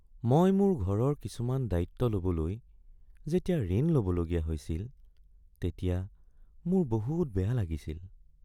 মই মোৰ ঘৰৰ কিছুমান দায়িত্ব ল’বলৈ যেতিয়া ঋণ ল’বলগীয়া হৈছিল তেতিয়া মোৰ বহুত বেয়া লাগিছিল।